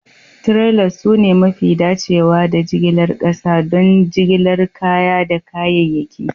Trailers sune mafi dacewa da jigilar ƙasa don jigilar kaya da kayayyaki